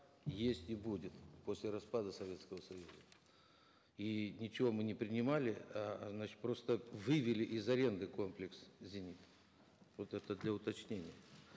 и есть и будет после распада советского союза и ничего мы не принимали э значит просто вывели из аренды комплекс зенитный вот это для уточнения